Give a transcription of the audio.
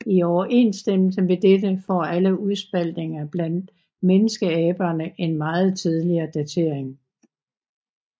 I overensstemmelse med dette får alle udspaltninger blandt menneskeaberne en meget tidligere datering